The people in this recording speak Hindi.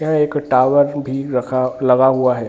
यह एक टॉवर भी रखा लगा हुआ है।